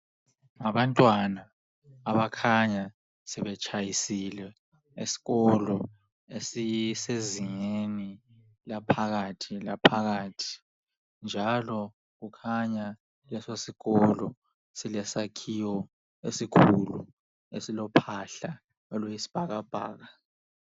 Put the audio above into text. Ngabantwana abakhanya sebetshayisile esikolo esisezingeni laphakathi laphakathi njalo kukhanya leso sikolo silesakhiwo esikhulu esilophahla oluyisibhakabhaka.